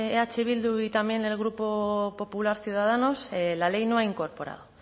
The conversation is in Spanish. eh bildu y también el grupo popular ciudadanos la ley no ha incorporado